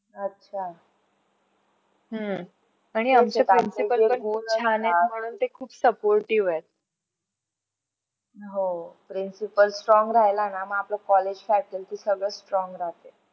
हो principal strong राहायला ना मग आपलं college faculty सगळ strong. राहत